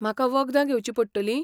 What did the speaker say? म्हाका वखदां घेवची पडटलीं?